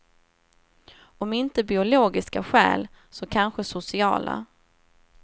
Om inte biologiska skäl, så kanske sociala.